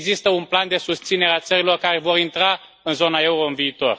Nu există un plan de susținere a țărilor care vor intra în zona euro în viitor.